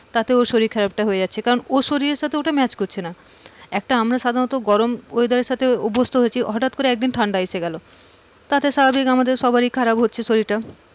তাতেও শরীর খারাপ টা হয়ে যাচ্ছে। কারণ ওর শরীরের সাথে ওটা match করছে না একটা আমরা সাধারণত গরম weather এর সাথে অভ্যস্থ হচ্ছি হঠাৎ করে একদিন ঠান্ডা আসে গেলো, তাতে স্বাভাবিক আমাদের সবারই খারাপ হচ্ছে শরীরটা,